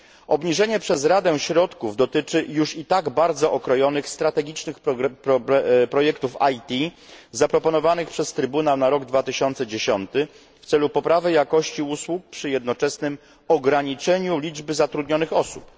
Obniżenie przez Radę środków dotyczy już i tak bardzo okrojonych strategicznych projektów IT zaproponowanych przez Trybunał na rok 2010 w celu poprawy jakości usług przy jednoczesnym ograniczeniu liczby zatrudnionych osób.